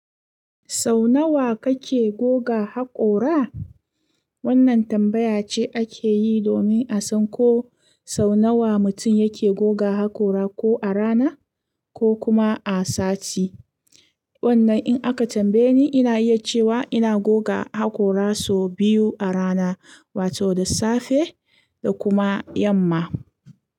Sau nawa kake goga haƙora? Wannan tambaya ce ake yi domin a san ko sau nawa mutum yake goga haƙora, ko a rana ko kuma a sati. Wannan in aka tambaye ni, ina iya cewa ina goga haƙora sau biyu a rana, wato da safe da kuma yamma.